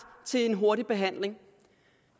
til en hurtig behandling